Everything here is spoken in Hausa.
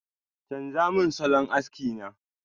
chanza mun salon aski na!